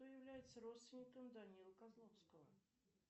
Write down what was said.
кто является родственником данилы козловского